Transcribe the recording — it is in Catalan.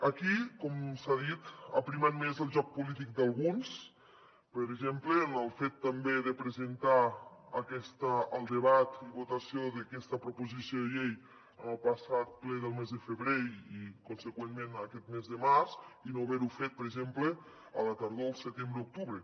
aquí com s’ha dit ha primat més el joc polític d’alguns per exemple en el fet també de presentar el debat i votació d’aquesta proposició de llei en el passat ple del mes de febrer i consegüentment aquest mes de març i no haver ho fet per exemple a la tardor al setembre octubre